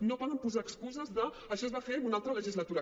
no poden posar excuses d’ això es va fer en una altra legistalutura